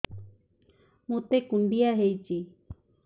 ମୋତେ କୁଣ୍ଡିଆ ହେଇଚି